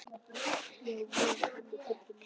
Ég á von á tonni af tilfinningum.